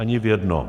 Ani v jednom.